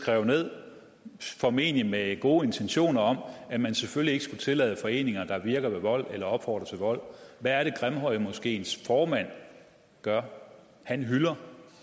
skrev ned formentlig med gode intentioner om at man selvfølgelig ikke skulle tillade foreninger der virker ved vold eller opfordrer til vold hvad er det grimhøjmoskeens formand gør han hylder